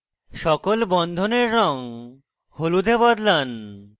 সকল বন্ধনের রঙ হলুদ এ বদলান